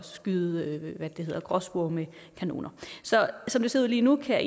skyde gråspurve med kanoner så som det ser ud lige nu kan